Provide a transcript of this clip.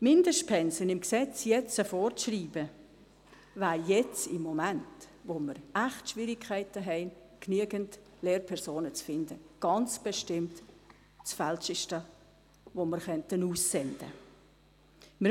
Mindestpensen jetzt im Gesetz vorzuschreiben, wäre im Moment, in dem wir echt Schwierigkeiten haben, genügend Lehrpersonen zu finden, ganz bestimmt das Falscheste, das wir aussenden könnten.